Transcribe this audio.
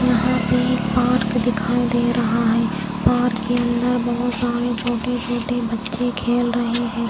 यहां पे एक पार्क दिखाई दे रहा है पार्क के अंदर बहोत सारे छोटे छोटे बच्चे खेल रहे हैं।